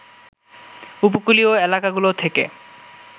উপকূলীয় এলাকাগুলো থেকে